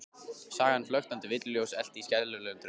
Sagan flöktandi villuljós elt í skelfilegum draumi?